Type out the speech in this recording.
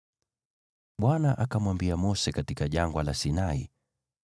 Bwana akamwambia Mose katika Jangwa la Sinai,